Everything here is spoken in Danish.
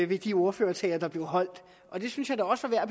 ved de ordførertaler der blev holdt og det synes jeg da også er